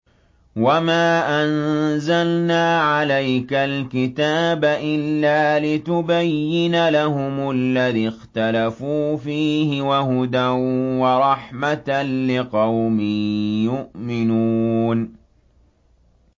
وَمَا أَنزَلْنَا عَلَيْكَ الْكِتَابَ إِلَّا لِتُبَيِّنَ لَهُمُ الَّذِي اخْتَلَفُوا فِيهِ ۙ وَهُدًى وَرَحْمَةً لِّقَوْمٍ يُؤْمِنُونَ